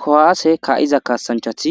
Kowaase kaa7iza kaasanchati